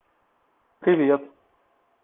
привет